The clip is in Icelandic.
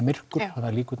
myrkur